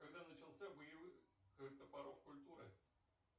когда начался боевых топоров культуры